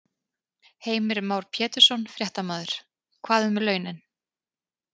Heimir Már Pétursson, fréttamaður: Hvað um launin?